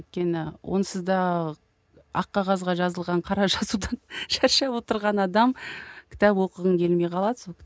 өйткені онсыз да ақ қағазға жазылған қара жазудан шаршап отырған адам кітап оқығың келмей қалады сол